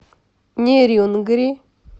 нерюнгри